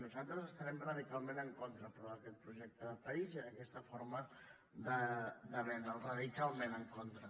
nosaltres hi estarem radicalment en contra però d’aquest projecte de país i d’aquesta forma de vendre’l radicalment en contra